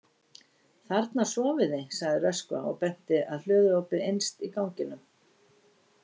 Þarna sofið þið, sagði Röskva og benti að hlöðuopi innst á ganginum.